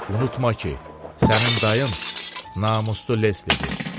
Unutma ki, sənin dayın namuslu Leslidir.